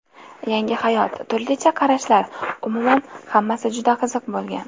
Yangi hayot, turlicha qarashlar, umuman, hammasi juda qiziq bo‘lgan.